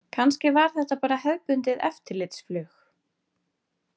Kannski var þetta bara hefðbundið eftirlitsflug.